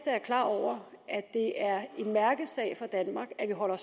er klar over at det er en mærkesag for danmark at vi holder